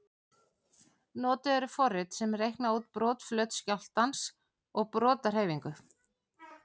Notuð eru forrit sem reikna út brotflöt skjálftans og brotahreyfingu.